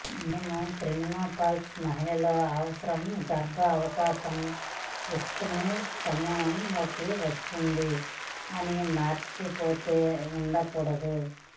మేము ప్రీమెనోపౌసల్ మహిళ లో అనవసర గర్భం అవకాశం రిస్కును సమూహం లోకి వస్తుంది అని మర్చిపోతే ఉండకూడదు